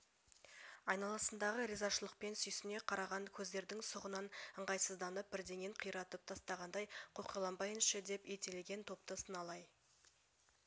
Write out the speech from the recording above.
айналасындағы ризашылықпен сүйсіне қараған көздердің сұғынан ыңғайсызданып бірдеңен қиратып тастағандай қоқиланбайыншы деп ентелеген топты сыналай